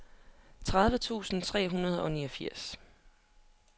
tredive tusind tre hundrede og niogfirs